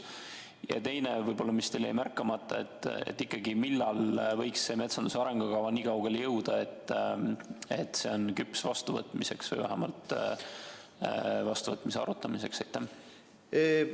Ja teine küsimus, mis teil vist jäi märkamata: millal võiks metsanduse arengukavaga nii kaugele jõuda, et see on küps vastuvõtmiseks või vähemalt vastuvõtmise arutamiseks?